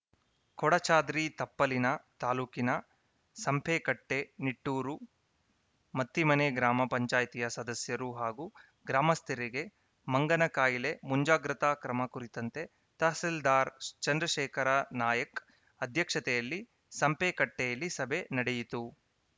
ಕೊಡಚಾದ್ರಿ ತಪ್ಪಲಿನ ತಾಲೂಕಿನ ಸಂಪೆಕಟ್ಟೆ ನಿಟ್ಟೂರು ಮತ್ತಿಮನೆ ಗ್ರಾಮ ಪಂಚಾಯ್ತಿಯ ಸದಸ್ಯರು ಹಾಗೂ ಗ್ರಾಮಸ್ಥರಿಗೆ ಮಂಗನ ಕಾಯಿಲೆ ಮುಂಜಾಗ್ರತಾ ಕ್ರಮ ಕುರಿತಂತೆ ತಹಸೀಲ್ದಾರ್‌ ಚಂದ್ರಶೇಖರ ನಾಯ್ಕ ಅಧ್ಯಕ್ಷತೆಯಲ್ಲಿ ಸಂಪೆಕಟ್ಟೆಯಲ್ಲಿ ಸಭೆ ನಡೆಯಿತು